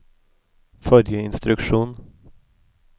forrige instruksjon